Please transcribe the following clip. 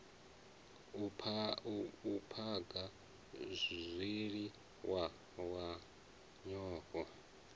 u phaga zwiliwa na nyofho